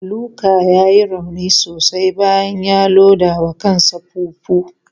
Luka ya yi rauni sosai bayan ya loda wa kansa fufu.